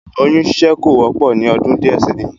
Oyún ṣíṣe kò wọ́pọ̀ ní ọdún díẹ̀ sẹ́yìn